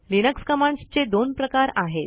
Linux commands चे दोन प्रकार आहेत